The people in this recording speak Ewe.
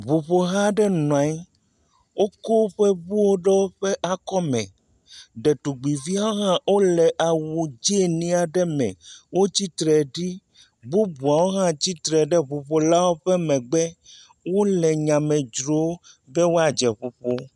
Ŋuƒoha aɖe nɔ anyi woke woƒe ŋuwo ɖe woƒe akɔme, ɖetugbuiviwo hã le awu dzɛ̃ nyui aɖe me, wo tsitre ɖi bubuawo hã tsitre ɖe ŋu ƒolawo megbe, wole nyame dzrom be woadze ŋuƒoƒo gɔme.